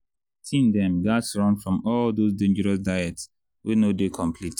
teen dem gats run from all those dangerous diet wey no dey complete.